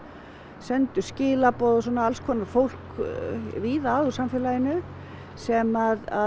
sendu skilaboð svona alls konar fólk víða að úr samfélaginu sem